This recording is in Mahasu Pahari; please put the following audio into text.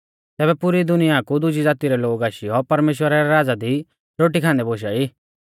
तैबै पुरी दुनिया कु दुजी ज़ाती रै लोग आशीयौ परमेश्‍वरा रै राज़ा दी रोटी खान्दै बोशा ई